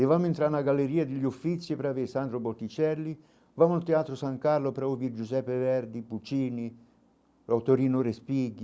E vamo entrar na galeria de Lioffizi para ver Sandro Botticelli, vamo ao Teatro San Carlo para ouvir Giuseppe Verdi, Puccini, Autorino Respighi,